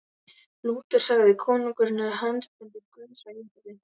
Lúter sagði: Konungurinn er handbendi Guðs á jörðu.